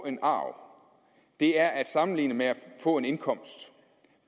en arv er at sammenligne med at få en indkomst